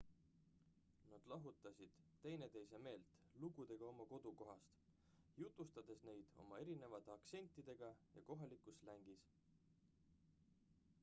nad lahutasid teineteise meelt lugudega oma kodukohast jutustades neid oma erinevate aktsentidega ja kohalikus slängis